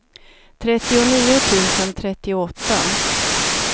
trettionio tusen trettioåtta